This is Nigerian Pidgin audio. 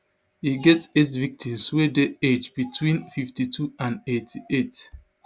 e get eight victims wey dey age between fifty-two and eighty-eight